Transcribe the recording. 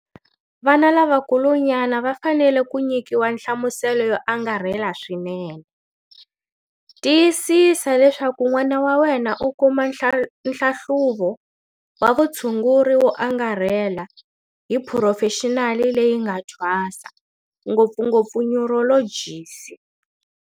Vana lavakulunyana va fanele ku nyikiwa nhlamuselo yo angarhela swinene. Tiyisisa leswaku n'wana wa wena u kuma nhlahluvo wa vutshunguri wo angarhela hi phurofexinali leyi nga thwasa, ngopfungopfu nyurolojisi.